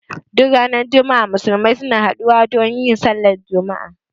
Duk ranar juma'a Musulmi suna haɗu wa don yin Sallar juma'a